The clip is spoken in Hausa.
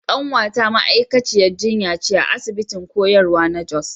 Kanwata ma’aikaciyar jinya ce a asibitin koyarwa na Jos.